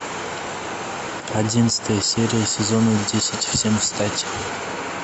одиннадцатая серия сезона десять всем встать